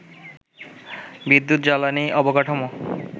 বিদ্যুৎ, জ্বালানি, অবকাঠামো